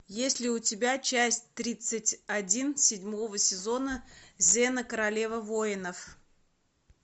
есть ли у тебя часть тридцать один седьмого сезона зена королева воинов